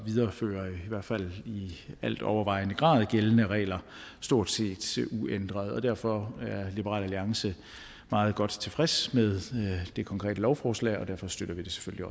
videreføre i hvert fald i al overvejende grad gældende regler stort set uændret og derfor er liberal alliance meget godt tilfreds med det konkrete lovforslag og derfor støtter vi det selvfølgelig